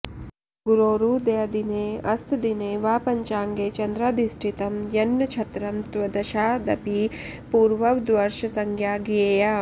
गुरोरुदयदिनेऽस्तदिने वा पञ्चाङ्गे चन्द्राधिष्ठितं यन्नक्षत्रं तद्वशादपि पूर्ववद्वर्षसंज्ञा ज्ञेया